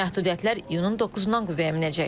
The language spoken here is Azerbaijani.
Məhdudiyyətlər iyunun 9-dan qüvvəyə minəcək.